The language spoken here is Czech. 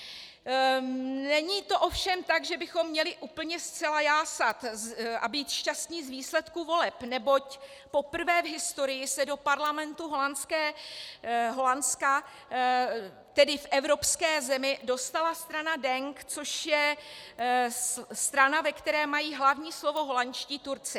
Není to ovšem tak, že bychom měli úplně zcela jásat a být šťastni z výsledku voleb, neboť poprvé v historii se do parlamentu Holandska, tedy v evropské zemi, dostala strana DENK, což je strana, ve které mají hlavní slovo holandští Turci.